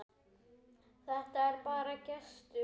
Þetta er bara gestur.